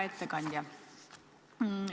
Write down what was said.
Hea ettekandja!